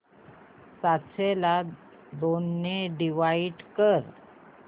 सातशे ला दोन ने डिवाइड कर